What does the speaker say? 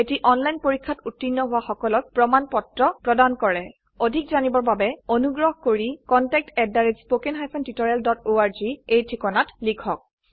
এটা অনলাইন পৰীক্ষাত উত্তীৰ্ণ হোৱা সকলক প্ৰমাণ পত্ৰ প্ৰদান কৰে অধিক জানিবৰ বাবে অনুগ্ৰহ কৰি contactspoken tutorialorg এই ঠিকনাত লিখক